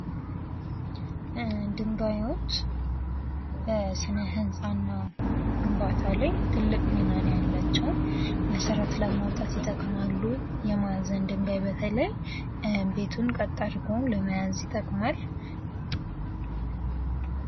ድንጋዮች በስነህንጻ ግንባታ ላይ ትልቅ ሚና ነው ያላቸው ።መሰረት ለማውጣት ይጠቅማሉ። የመሰረት ድንጋይ በተለይ ቤቱን ቀጥ አድርጎ ለመያዝ ይጠቅማል።